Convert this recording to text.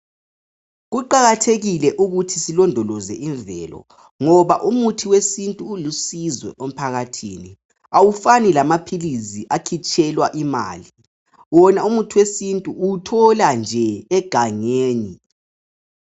Kuqakathekile ukuthi silondoloze imvelo ngoba umuthi wesintu ulusizo emphakathini awufani lamaphilisi akhitshelwa imali wina umuthi wesintu uwuthola nje egangeni.